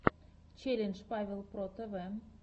челлендж павел про тв